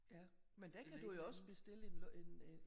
Ja men den kan du jo også bestille en